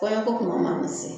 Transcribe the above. Kɔɲɔko kuma mana se